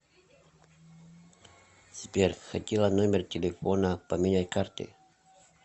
сбер хотела номер телефона поменять карты